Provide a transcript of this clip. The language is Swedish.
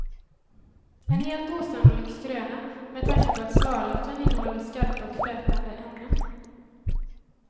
En helt osannolik skröna med tanke på att svalörten innehåller skarpa och frätande ämnen.